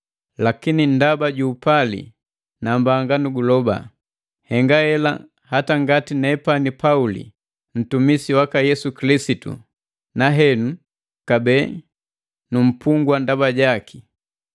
Lakini ndaba ju upali nambanga nuguloba. Nhenga hela hata ngati nepani Pauli ntumisi waka Yesu Kilisitu, na henu kabee nu mpungwa ndaba jaki.